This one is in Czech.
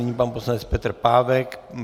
Nyní pan poslanec Petr Pávek.